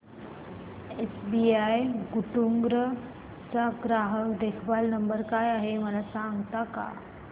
SBI Guntur चा ग्राहक देखभाल नंबर काय आहे मला सांगता का